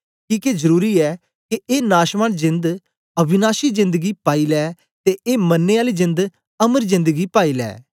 किके जरुरी ऐ के ए नाशवान जेंद अविनाशी जेंद गी पाई लै ते ए मरने आली जेंद अमर जेंद गी पाई लै